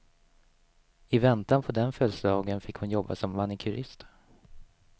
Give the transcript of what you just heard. I väntan på den födelsedagen fick hon jobba som manikurist.